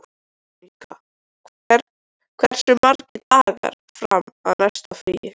Veronika, hversu margir dagar fram að næsta fríi?